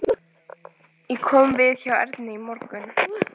Ég kom við hjá Ernu í morgun.